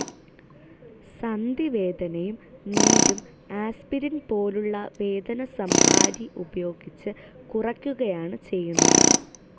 സന്ധിവേദനയും നീരും ആസ്പിരിൻ പോലുള്ള വേദനസംഹാരി ഉപയോഗിച്ച് കുറക്കുകയാണ്‌ ചെയ്യുന്നത്.